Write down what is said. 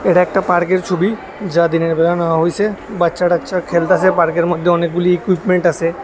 এটা একটা পার্কের ছবি যা দিনের বেলা নাওয়া হইছে বাচ্চা টাচ্চা খেলতাছে পার্কের মধ্যে অনেকগুলি ইকুইভমেন্ট আছে।